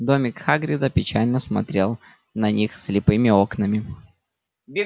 домик хагрида печально смотрел на них слепыми окнами